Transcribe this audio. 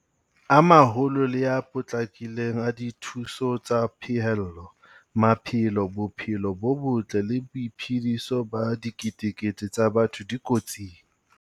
A maholo le a potlakileng a dithuso tsa pheellelo. Maphelo, bophelo bo botle le boiphediso ba diketekete tsa batho di kotsing.